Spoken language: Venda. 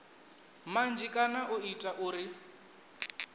manzhi kana u ita uri